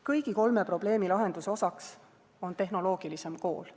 Kõigi kolme probleemi lahenduse osaks on tehnoloogilisem kool.